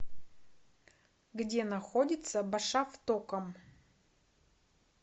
где находится башавтоком